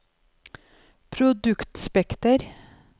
produktspekter